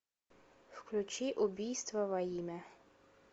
включи убийство во имя